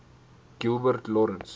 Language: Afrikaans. gilbert lawrence